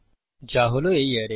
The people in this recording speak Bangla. যা হল এই অ্যারে